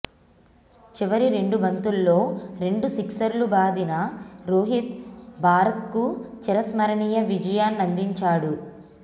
చివరి రెండు బంతుల్లో రెండు సిక్సర్లు బాదిన రోహిత్ భారత్కు చిరస్మరణీయ విజయాన్నందించాడు